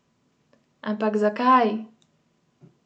Ampak zakaj?